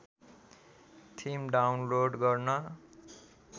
theme download गर्न